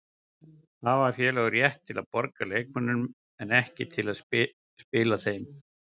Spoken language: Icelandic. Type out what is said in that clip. Hafa félög rétt til að borga leikmönnum en ekki til að spila þeim?